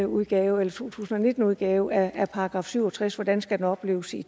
udgave eller to tusind og nitten udgave af § syv og tres og hvordan den skal opleves i